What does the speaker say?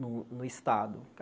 no no estado.